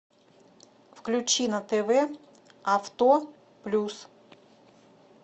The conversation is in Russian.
включи на тв авто плюс